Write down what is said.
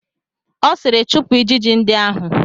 Ọ sịịrị, chụpụ ijiji ndị ahụ!